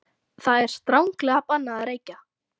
ÞAÐ ER STRANGLEGA BANNAÐ AÐ REYKJA!